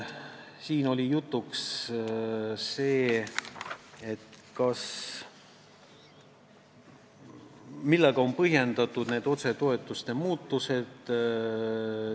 Siin oli ka jutuks see, millega on põhjendatud otsetoetuste muutused.